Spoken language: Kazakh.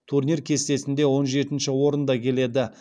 турнир кестесінде он жетінші орында келеді